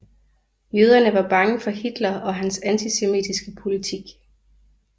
Jøderne var bange for Hitler og hans antisemitiske politik